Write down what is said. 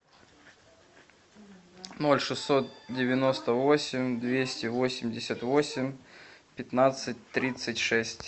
ноль шестьсот девяносто восемь двести восемьдесят восемь пятнадцать тридцать шесть